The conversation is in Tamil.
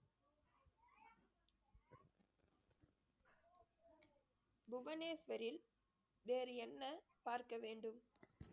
புவனேஸ்வரில் வேறு என்ன பார்க்க வேண்டும்